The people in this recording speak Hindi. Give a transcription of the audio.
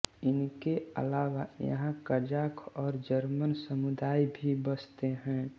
इनके आलावा यहाँ कज़ाख़ और जर्मन समुदाय भी बसते हैं